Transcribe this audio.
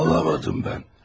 Baba olamadım ben.